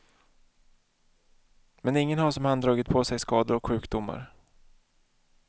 Men ingen har som han dragit på sig skador och sjukdomar.